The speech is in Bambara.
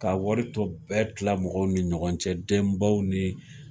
Ka waritɔ bɛɛ tila mɔgɔw ni ɲɔgɔn cɛ denbaw ni